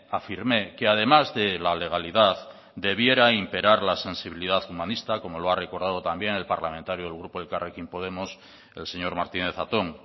afirmé que además de la legalidad debiera imperar la sensibilidad humanista como lo ha recordado también el parlamentario del grupo elkarrekin podemos el señor martínez zatón